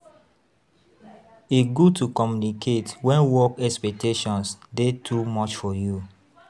E good to communicate wen work expectations dey too much for you.